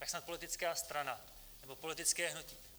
Tak snad politická strana nebo politické hnutí.